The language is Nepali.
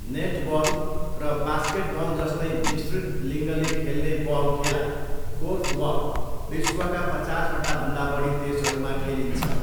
नेटबल र बास्केटबलजस्तै मिश्रित लिङ्गले खेल्ने बल खेला, कोर्फबल विश्वका पचासवटाभन्दा बढी देशहरूमा खेलिन्छ।